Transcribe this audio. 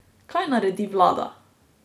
Kaj naredi vlada?